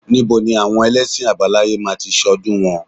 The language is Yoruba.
Ní bo ni àwọn elẹ́sìn àbáláyé máa ti ṣọ́dún wọn?